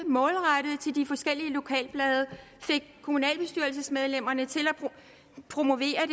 målrettet ud til de forskellige lokalblade og fik kommunalbestyrelsesmedlemmerne til at promovere